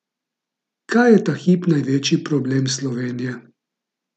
Kaj je ta hip največji problem Slovenije?